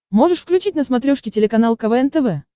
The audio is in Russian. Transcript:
можешь включить на смотрешке телеканал квн тв